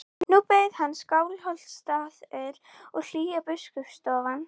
Er sóknarleikurinn áhyggjuefni?